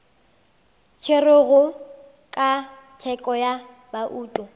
tšerwego ka thekgo ya bouto